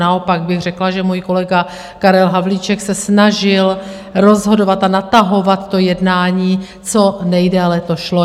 Naopak bych řekla, že můj kolega Karel Havlíček se snažil rozhodovat a natahovat to jednání, co nejdéle to šlo.